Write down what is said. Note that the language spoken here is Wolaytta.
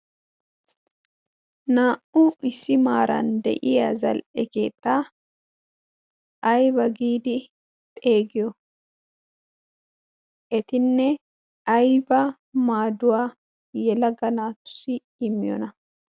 naa'u issi maaran de'iya zal'e keexxa ayba giidi xeegiyo etinne ayba maaduwaa yelagga naatussi immiyona?